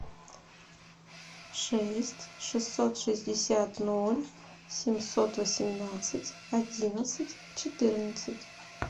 шесть шестьсот шестьдесят ноль семьсот восемнадцать одиннадцать четырнадцать